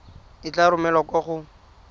e tla romelwa kwa go